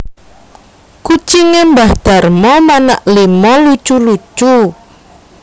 Kucinge mbah Darmo manak limo lucu lucu